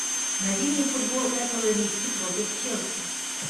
найди мне футбол эпл ириски против челси